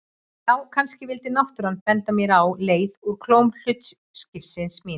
Já, kannski vildi náttúran benda mér á leið úr klóm hlutskiptis míns.